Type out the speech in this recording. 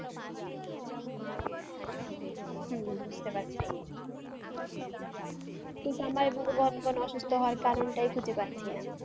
হ্যাঁ বুঝতে পারছি কিন্তু আমার এভাবে ঘন ঘন অসুস্থ হওয়ার কারণটাই খুঁজে পাচ্ছি না।